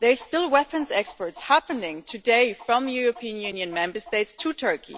There are still weapons exports happening today from European Union Member States to Turkey.